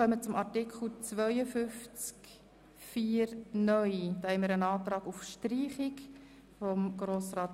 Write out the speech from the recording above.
Somit geht Artikel 52 Absatz 1a (neu) zurück in die Kommission.